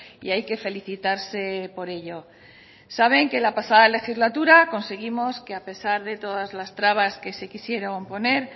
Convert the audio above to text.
y hay que felicitarse por ello saben que la pasada legislatura conseguimos que a pesar de todas las trabas que se quisieron poner